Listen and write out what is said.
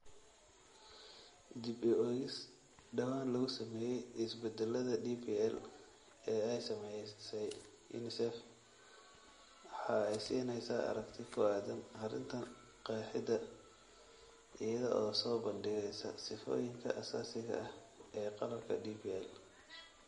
Dib-u-eegis dhawaan lagu sameeyay isbeddellada DPL ee ay samaysay UNICEF waxa ay siinaysaa aragti ku aaddan arrinta qeexidda, iyada oo soo bandhigaysa sifooyinka aasaasiga ah ee qalabka DPL.